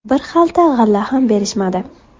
Bir xalta g‘alla ham berishmadi.